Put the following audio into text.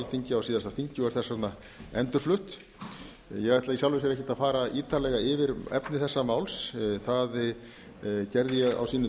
alþingi á síðasta þingi og er þess vegna endurflutt ég ætla í sjálfu sér ekkert að að ítarlega yfir efni þessa máls það gerði ég á sínum